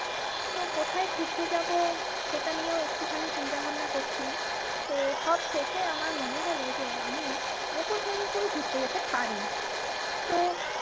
তো কোথায় ঘুরতে যাবো সেটা নিয়েও একটু চিন্তাভাবনা করছিলাম তো সব শেষে আমার মনে হল যে আমি মুকুট মণিপুরেও ঘুরতে যেতে পারি তো।